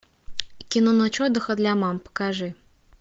кино ночь отдыха для мам покажи